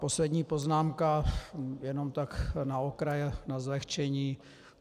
Poslední poznámka, jen tak na okraj, na zlehčení.